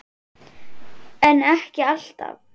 en ekki alltaf